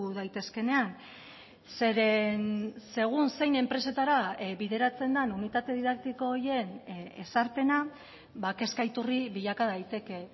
daitezkeenean zeren segun zein enpresetara bideratzen den unitate didaktiko horien ezarpena kezka iturri bilaka daiteke